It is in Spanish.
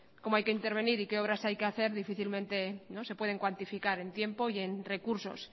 cómo hay que intervenir y qué obras hay que hacer difícilmente se pude cuantificar en tiempo y en recursos